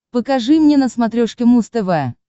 покажи мне на смотрешке муз тв